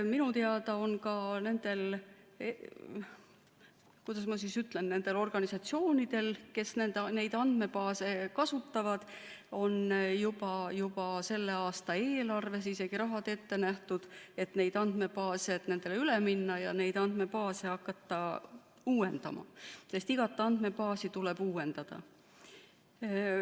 Minu teada on ka nendel, kuidas ma ütlen, organisatsioonidel, kes neid andmebaase kasutavad, juba selle aasta eelarves isegi raha ette nähtud, et nendele andmebaasidele üle minna ja neid uuendama hakata, sest igat andmebaasi tuleb uuendada.